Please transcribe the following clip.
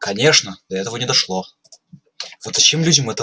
конечно до этого не дошло